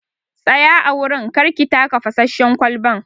Tsaya a wurin!kar ki taka fasasshen kwalban.